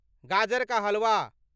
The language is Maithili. गाजर का हलवा